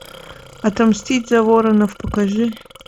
отомстить за воронов покажи